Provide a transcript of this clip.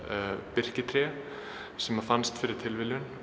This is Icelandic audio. birkitré sem fannst fyrir tilviljun